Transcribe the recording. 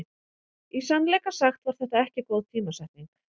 Í sannleika sagt var þetta ekki góð tímasetning.